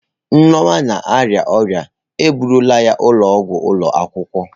Nneoma na-arịa ọrịa, e bugala ya ụlọọgwụ ụlọ akwụkwọ.